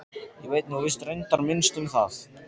Ég veit nú víst reyndar minnst um það.